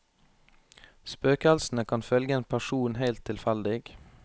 Spøkelsene kan følge en person helt tilfeldig.